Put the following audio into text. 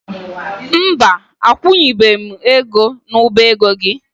Mba, akwụnyeghị m ego n'ọba ego gị.